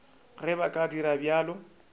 ge ba ka dira bjalo